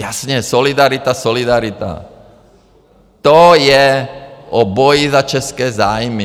Jasně, solidarita, solidarita, to je o boji za české zájmy.